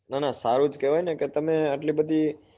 ના ના સારું જ કેવાય ને કે તમે આટલી બધી